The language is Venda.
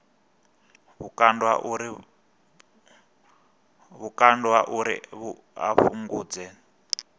vhukando ha uri a fhungudze